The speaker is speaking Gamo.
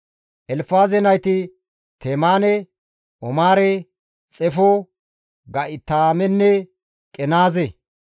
Elfaaze nayti Temaane, Omaare, Xefo, Ga7itaamenne Qenaaze.